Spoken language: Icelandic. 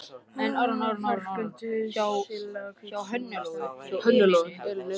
Ferköntuð sterkleg hvít súla stendur í miðju rýminu.